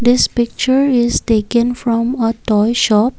this picture is taken from a toy shop.